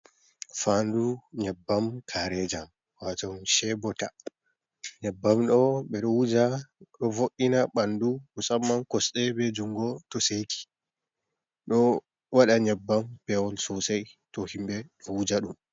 Faandu nyebbam kareejam wato chebota, nyabbam ɗoo ɓeɗo wuuja ɗo vo’ina ɓandu musamman koosɗe bee juungo to seeki. Ɗo waaɗa nyebbam peewol sosai to himɓe ɗo wuujaɗum.